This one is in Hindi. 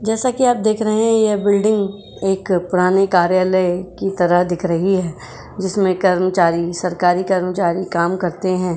जैसे कि आप देख रहे हैं। यह बिल्डिंग एक पुराने कार्यालय की तरह दिख रही है। जिसमें कर्मचारी सरकारी कर्मचारी काम करते हैं।